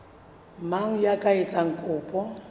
mang ya ka etsang kopo